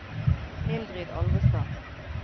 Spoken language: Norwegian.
Mildrid Alvestad